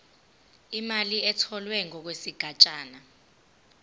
imali etholwe ngokwesigatshana